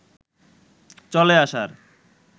চলে আসার